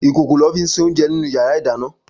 Ikókó lò fi n sé óunjè ninú iyàrá idàná